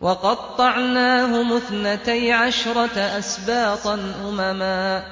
وَقَطَّعْنَاهُمُ اثْنَتَيْ عَشْرَةَ أَسْبَاطًا أُمَمًا ۚ